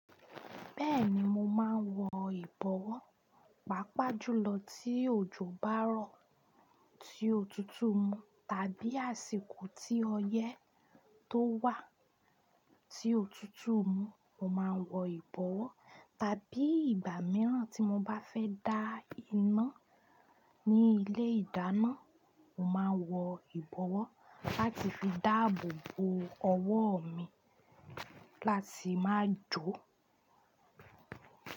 Bẹ́ẹ̀ni, mo máa ń wọ ìbọwọ́, pàápàá jùlọ tí òjò bá rọ̀ tí òtútù mu tàbí àsìkò tí ọyẹ́ tó wà tí òtútù mu, mo máa ń wọ ìbọwọ́. Tàbí ìgbà mìíràn tí mo bá fẹ́ dá iná ní ilé ìdáná, mo máa ń wọ ìbọwọ́ láti fi dáàbò bo ọwọ́ mi láti má jó.